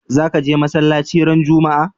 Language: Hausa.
Za ka je masalaci ran Juma'a?